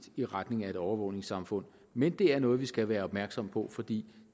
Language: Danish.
i retning af et overvågningssamfund men det er noget vi skal være opmærksomme på fordi